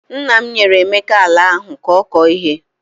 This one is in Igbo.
Nna m nyere Emeka ala ahụ ka ọ kọọ ihe.